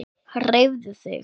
Hreyfðu þig.